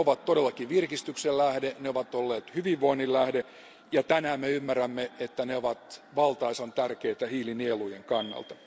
Ne ovat todellakin virkistyksen lähde, ne ovat olleet hyvinvoinnin lähde ja tänään me ymmärrämme, että ne ovat valtaisan tärkeitä hiilinielujen kannalta.